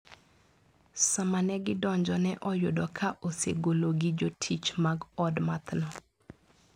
Sama ne gidonjo ne oyudo ka osegolo gi jotich mag od mathno.